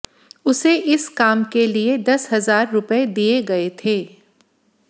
उसे इस काम के लिए दस हजार रुपए दिए गए थे